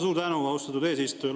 Suur tänu, austatud eesistuja!